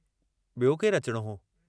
बियो केरु अचणो हो।